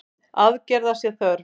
Aðgerða sé þörf.